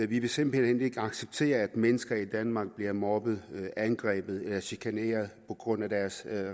vi vil simpelt hen ikke acceptere at mennesker i danmark bliver mobbet angrebet eller chikaneret på grund af deres